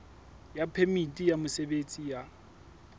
ya phemiti ya mosebetsi ya